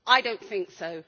I don't think so.